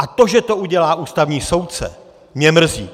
A to, že to udělá ústavní soudce, mě mrzí.